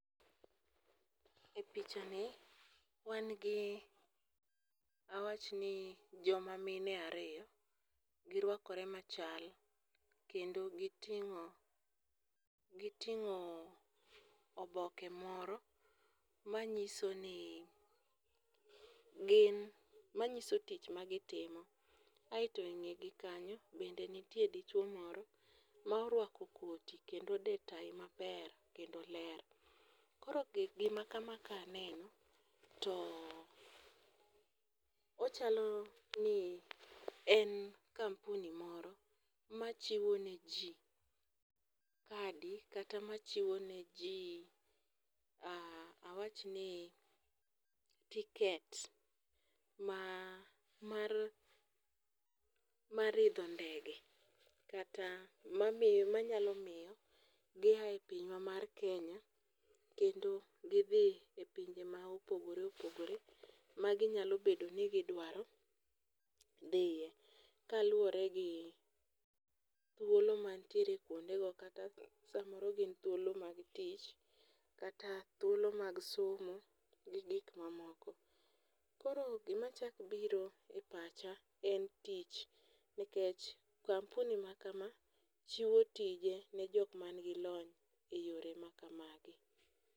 E picha ni, wan gi awachni joma mine ariyo, girwakore machal, kendo giting'o oboke moro manyiso tich magitimo, aeto e ng'egi kanyo be nitie dichuwo moro mar orwako koti kendo ode tayi maber kendo ler. Koro gima kama kaneno, to ochalo ni en kampuni moro machiwo ne ji kadi kata machiwo ne ji awachni tickets mar idho ndege, kata manyalo miyo gia e pinywa mar Kenya kendo gidhi e pinje ma opogore opogore maginyalo bedo ni gidwaro dhiye, kaluwore gi thuolo mantiere kwondego kata samoro gin thuolo mag tich kata thuolo mag somo gi gik mamoko. Koro gimachako biro e pacha en tich, nikech kampuni ma kama chiwo tije ne jok manigi lony e yore ma kamagi.